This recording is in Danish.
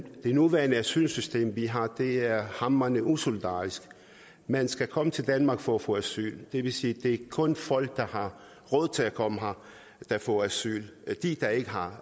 nuværende asylsystem vi har for det er hamrende usolidarisk man skal komme til danmark for at få asyl det vil sige det kun er folk der har råd til at komme her der får asyl de der ikke har